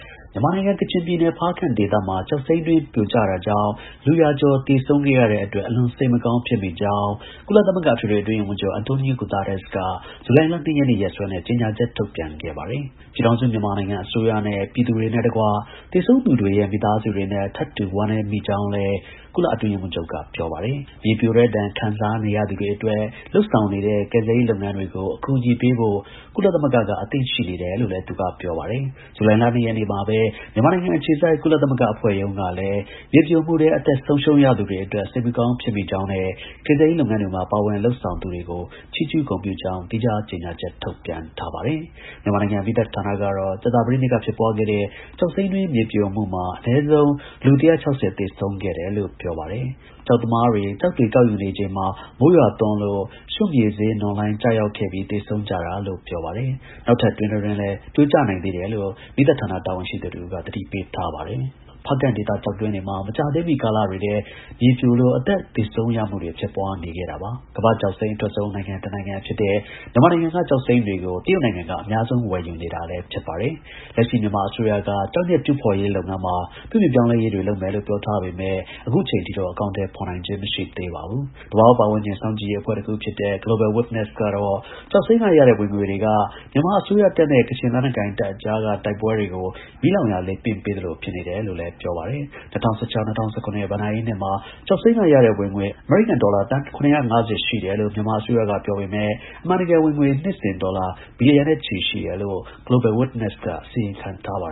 မြန်မာနိုင်ငံ၊ ကချင်ပြည်နယ်၊ ဖားကန့်ဒေသမှာ ကျောက်စိမ်းတွင်း ပြိုကျတာကြောင့် လူ ရာကျော် သေဆုံးခဲ့ရတဲ့ အတွက် အလွန် စိတ်မကောင်း ဖြစ်မိကြောင်း ကုလသမဂ္ဂ အထွေထွေ အတွင်းရေးမှူးချုပ် Antonio Guterres က ဇူလိုင်လ ၂ ရက်နေ့ရက်စွဲနဲ့ ကြေညာချက် ထုတ်ပြန်ခဲ့ပါတယ်။ ပြည်ထောင်စု မြန်မာနိုင်ငံ အစိုးရနဲ့ ပြည်သူတွေနဲ့တကွ သေဆုံးသူတွေရဲ့ မိသားစုတွေနဲ့ထပ်တူ ဝမ်းနည်း မိကြောင်းလည်း ကုလ အတွင်းရေးမှူးချုပ်က ပြောပါတယ်။ မြေပြိုတဲ့ဒဏ်ခံစားရသူတွေအတွက် လုပ်ဆောင်နေတဲ့ ကယ်ဆယ်ရေးလုပ်ငန်းတွေကို အကူအညီ ပေးဖို့ ကုလသမဂ္ဂက အသင့် ရှိနေတယ်လို့ သူက ပြောပါတယ်။ ဇူလိုင်လ ၂ရက်နေ့မှာပဲ မြန်မာနိုင်ငံအခြေစိုက် ကုလသမဂ္ဂအဖွဲ့ရုံးကလည်း မြေပြိုမှုထဲ အသက်ဆုံးရှုံးရသူတွေအတွက် စိတ်မကောင်း ဖြစ်မိကြောင်းနဲ့ ကယ်ဆယ်ရေးလုပ်ငန်းတွေမှာ ပါဝင်လုပ်ဆောင်နေသူတွေကို ချီးကျူး ဂုဏ်ပြုကြောင်း သီးခြား ကြေညာချက် ထုတ်ပြန်ထားပါတယ်။ မြန်မာနိုင်ငံ မီးသတ်ဌာနကတော့ ကြာသပတေးနေ့က ဖြစ်ပွားခဲ့တဲ့ ကျောက်စိမ်းတွင်း မြေပြိုမှုမှာ အနည်းဆုံး လူ ၁၆၀ သေဆုံးခဲ့ တယ်လို့ ပြောပါတယ်။ ကျောက်သမားတွေ ကျောက်တွေ ကောက်ယူနေချိန်မှာ မိုးရွာသွန်းလို့ရွှံ့မြေစေး နွံလှိုင်း ကျရောက်ခဲ့ပြီး သေဆုံးကြတာလို့ ပြောပါတယ်။ နောက်ထပ် တွင်းတတွင်းလည်း ပြိုကျနိုင်သေးတယ်လို့ မီးသတ်ဌာန တာဝန်ရှိသူ တစ်ဦးက သတိပေး ထားပါတယ်။ ဖားကန့်ဒေသ ကျောက်တွင်းတွေမှာ မကြာသေးမှီနှစ်တွေထဲ မြိုပြိုလို့ အသက်သေဆုံးရမှုတွေ ဖြစ်ပွားနေခဲ့တာပါ။ ကမ္ဘာ့ ကျောက်စိမ်း အထွက်ဆုံး နိုင်ငံ တစ်နိုင်ငံဖြစ်တဲ့ မြန်မာနိုင်ငံက ကျောက်စိမ်းတွေကို တရုတ်နိုင်ငံက အများဆုံး ဝယ်ယူနေတာလည်း ဖြစ်ပါတယ်။ လက်ရှိ မြန်မာ အစိုးရက ကျောက်မျက်တူးဖော်ရေးလုပ်ငန်းမှာ ပြုပြင်ပြောင်းလဲရေးတွေ လုပ်မယ်လို့ ပြောထားပေမဲ့ အခုအချိန် အထိ တော့ အကောင်အထည် ဖော်နိုင်ခြင်း မရှိသေးပါဘူး။ သဘာဝပတ်ဝန်းကျင်စောင့်ကြည့်ရေးအဖွဲ့တစ်ခုဖြစ်တဲ့ Global Witness ကတော့ ကျောက်စိမ်းက ရတဲ့ ဝင်ငွေတွေက မြန်မာ အစိုးရတပ်နဲ့ ကချင် လက်နက်ကိုင်တပ်အကြားက တိုက်ပွဲတွေကို မီးလောင်ရာ လေပင့် ပေးသလို ဖြစ်နေတယ်လို့ ပြောပါတယ်။ ၂၀၁၆-၂၀၁၇ ဘဏ္ဍာရေးနှစ်မှာ ကျောက်စိမ်းက ရတဲ့ ဝင်ငွေ အမေရိကန် ဒေါ်လာ သန်း ၇၅၀ ရှိတယ်လို့ မြန်မာ အစိုးရကပြောပေမဲ့ အမှန်တကယ် ဝင်ငွေ နှစ်စဉ် ဒေါ်လာ ဘီလီယံနဲ့ချီ ရှိတယ်လို့ Global Witness က အစီရင်ခံထား ပါ